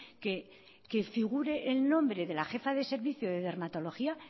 que que figure el nombre de la jefa de servicio de dermatología